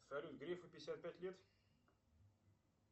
салют грифу пятьдесят пять лет